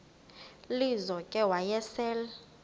lizo ke wayesel